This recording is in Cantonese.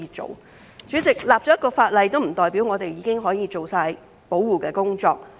代理主席，制定一項法例，並不代表我們已經可以做足保護工作。